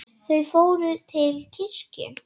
Þau fór til kirkju.